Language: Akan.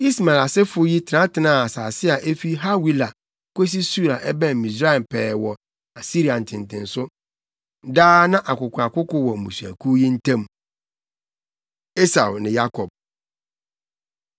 Ismael asefo yi tenatenaa nsase a efi Hawila kosi Sur a ɛbɛn Misraim pɛɛ wɔ Asiria ntentenso. Daa na akokoakoko wɔ mmusuakuw yi ntam. Esau Ne Yakob